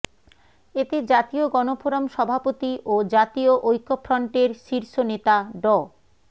এতে জাতীয় গণফোরাম সভাপতি ও জাতীয় ঐক্যফ্রন্টের শীর্ষ নেতা ড